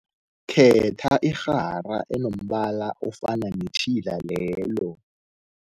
Khetha irhara enombala ofana netjhila lelo.